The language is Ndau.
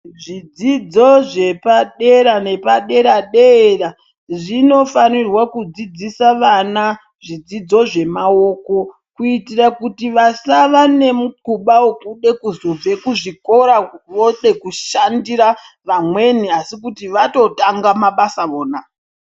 Zvidzidzo zvepadera nepaderera-dera zvinofanirwa kudzidzisa vana zvidzidzo zvemawoko. kuitira kuti vasava nemukhuba wekuda kuzobve kuzvikora voda kushandisa vamweni asi kuti vatotanga mabasa vona.